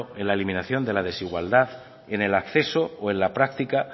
la eliminación de la desigualdad en el acceso o en la práctica